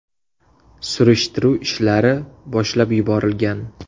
Surishtiruv ishlari boshlab yuborilgan.